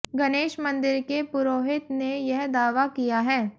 गणेश मंदिर के पुरोहित ने यह दावा किया है